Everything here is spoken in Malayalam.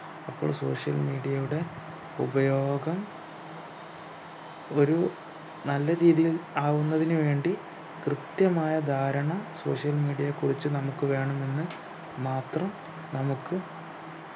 അപ്പോൾ social media യുടെ ഉപയോഗം ഒരു നല്ല രീതിയിൽ ആവുന്നതിനു വേണ്ടി കൃത്യമായ ധാരണ social media യെക്കുറിച്ച് നമ്മുക്ക് വേണം എന്ന് മാത്രം നമുക്ക്